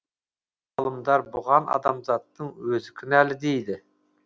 ғалымдар бұған адамзаттың өзі кінәлі дейді